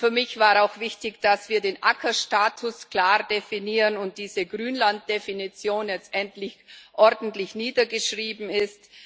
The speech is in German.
Für mich war auch wichtig, dass wir den Ackerstatus klar definieren und diese Grünlanddefinition jetzt endlich ordentlich niedergeschrieben ist.